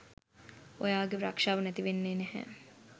ඔයාගේ රක්ෂාව නැතිවෙන්නේ නැහැ